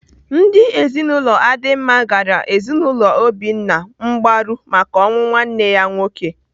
Ndị ezinaụlọ Adima gara ezinaụlọ Obinna mgbaru maka ọnwụ nwanne ya nwoke.